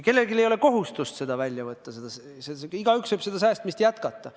Kellelgi ei ole kohustust seda välja võtta, igaüks võib säästmist jätkata.